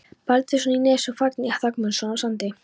Baldvinsson í Nesi og Þórgnýr Guðmundsson á Sandi.